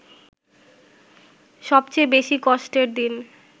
সবচেয়ে বেশি কষ্টের দিন